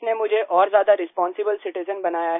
इसने मुझे और ज्यादा रिस्पांसिबल सिटिजेन बनाया